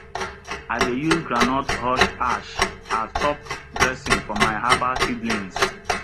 i dey use groundnut husk ash as top dressing for my herbal seedlings